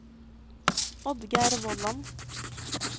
Oddgeir Vollan